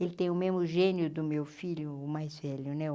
Ele tem o mesmo gênio do meu filho, o mais velho, né?